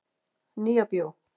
Nýja bíó